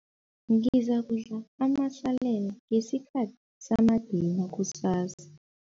Ngizakudla amasalela ngesikhathi samadina kusasa.